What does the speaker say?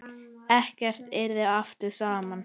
Ekkert yrði aftur samt.